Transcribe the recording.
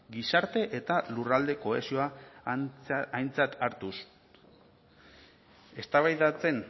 gizarte eta lurralde kohesioa aintzat hartuz eztabaidatzen